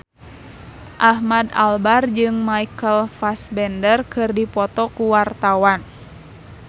Ahmad Albar jeung Michael Fassbender keur dipoto ku wartawan